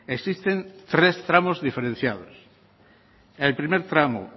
existen tres tramos diferenciados el primer tramo